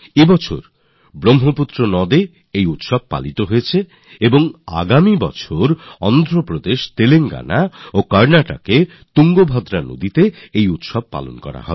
এ বছর এটি ব্রহ্মপুত্র নদে উদযাপিত হয়েছে আর আগামী বছর তুঙ্গভদ্রা নদীতে অন্ধ্রপ্রদেশ তেলেঙ্গানা ও কর্ণাটকে আয়োজিত হবে